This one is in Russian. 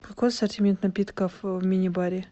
какой ассортимент напитков в мини баре